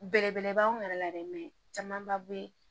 Belebelebaw yɛrɛ la dɛ camanba bɛ